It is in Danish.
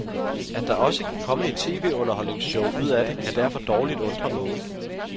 At der også kan komme et tv-underholdningsshow ud af det, kan derfor dårligt undre nogen.